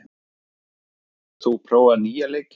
Írena, hefur þú prófað nýja leikinn?